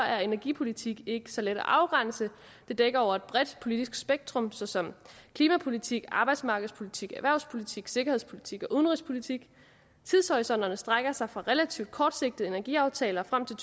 at energipolitik ikke er så let at afgrænse det dækker over et bredt politisk spektrum såsom klimapolitik arbejdsmarkedspolitik erhvervspolitik sikkerhedspolitik og udenrigspolitik tidshorisonterne strækker sig fra relativt kortsigtede energiaftaler frem til